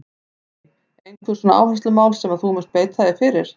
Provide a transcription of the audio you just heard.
Lillý: Einhver svona áherslumál sem að þú munt beita þér fyrir?